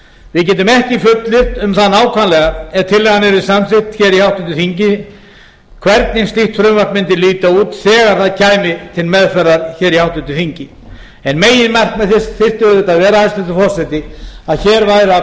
við getum ekki fullyrt um það nákvæmlega ef tillagan yrði samþykkt hér í háttvirtri þingi hvernig slíkt frumvarp mundi líta út þegar það kæmi til meðferðar hér í háttvirtri þingi en meginmarkmið þess þyrfti auðvitað að vera hæstvirtur forseti að hér væru að